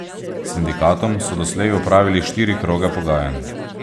S sindikatom so doslej opravili štiri kroge pogajanj.